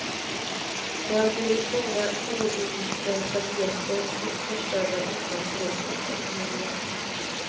Det har blivit många oinlösta biljetter och förstörda utlandsresor för familjen.